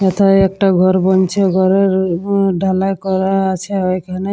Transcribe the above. এতে একটা ঘর বনছে ঘরের ডালা করা আছে ওইখানে।